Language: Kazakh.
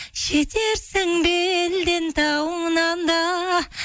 жетерсің белден тауыңнан да